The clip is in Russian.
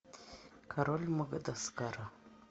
король мадагаскара